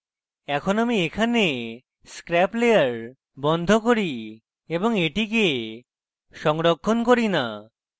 এখন আমি এখানে scrap layer বন্ধ করি এবং এটিকে সংরক্ষণ করি না